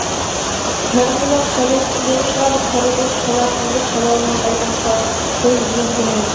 кәрі құлақ шала естіген шығар кәрі көз шалатынды шала алмай қалған шығар ол өз кінәм